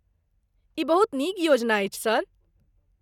ई बहुत नीक योजना अछि, सर।